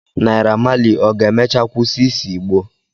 Naira Malị ọ ga-emecha kwụsị ise Igbo?